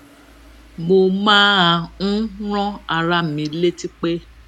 mo máa ń rán ara mi létí pé